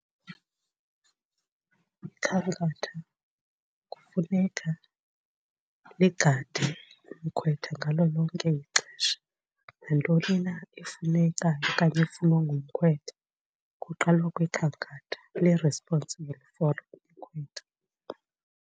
Ikhankatha kufuneka ligade umkhwetha ngalo lonke ixesha nantoni na efunekayo okanye efunwa ngumkhwetha kuqalwa kwikhankatha, li-responsible for umkhwetha.